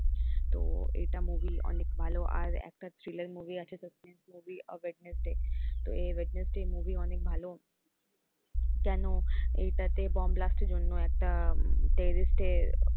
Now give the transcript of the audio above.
তো এটা movie র অনেক ভালো আর একটা thriller movie আছে suspense movie অফ ওয়েডনেসডে তো এই ওয়েডনেসডে movie অনেক ভালো কেন এইটাতে বোম ব্লাস্টের জন্য একটা terrorist এর,